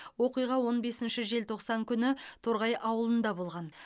оқиға он бесінші желтоқсан күні торғай ауылында болған